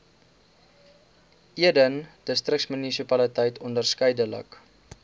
eden distriksmunisipaliteit onderskeidelik